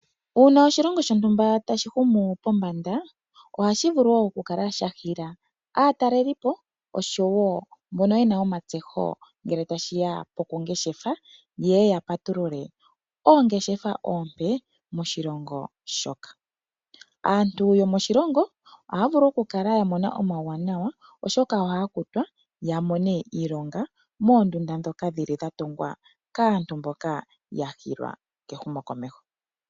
Uuna oshilongo shontumba tashi humu komeho, ohashi bulu oku kala shahila aatalelipo oshowo mbono yena omatseho ngele tashiya pokungeshefa yeye yapatulule oongeshefa oompe moshilongo shoka. Aantu yomoshilongo ohaya vulu oku kala yamona omauwanawa oshoka ohaya kutwa yamone iilonga moondunda ndhoka dhatungwa kaantu mboka yahilwa kehumo komeho.